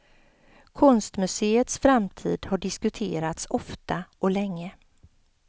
Konstmuseets framtid har diskuterats ofta och länge.